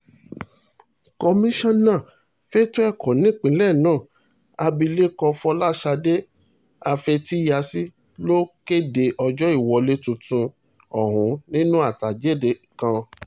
komisanna fẹ̀tọ́ ẹ̀kọ́ nípìnlẹ̀ náà abilékọ fọlásadé afetíyàsì ló kéde ọjọ́ ìwọlé tuntun ọ̀hún nínú àtẹ̀jáde kan